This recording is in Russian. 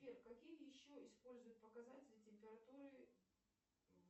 сбер какие еще используют показатели температуры